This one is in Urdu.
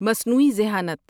مصنوعی ذہانت